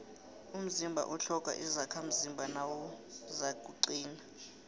umzimba utlhoga izakhamzimba nawuzakuqina